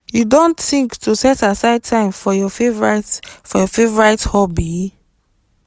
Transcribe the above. you don think to set aside time for your favorite for your favorite hobby?